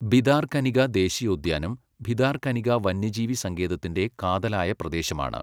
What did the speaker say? ഭിതാർകനിക ദേശീയോദ്യാനം, ഭിതാർകനിക വന്യജീവി സങ്കേതത്തിന്റെ കാതലായ പ്രദേശമാണ്.